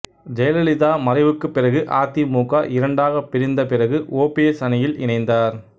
ஜெயலலிதா மறைவுக்கு பிறகு அதிமுக இரண்டாக பிரிந்த பிறகு ஓபிஎஸ் அணியில் இணைந்தார்